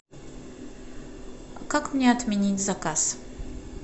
как мне отменить заказ